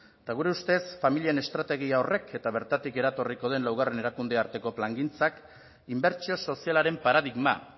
eta gure ustez familien estrategia horrek eta bertatik eratorriko den laugarren erakunde arteko plangintzak inbertsio sozialaren paradigma